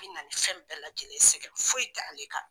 Bi na ni fɛn bɛɛ lajɛlen ye. Sɛgɛn foyi t'ale kan.